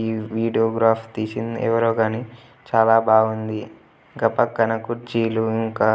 ఈ video graph తీసింది ఎవరో కానీ చాలా బాగుంది ఇంకా పక్కన కుర్చీలు ఇంకా